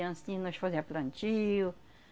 E assim, nós fazia plantio.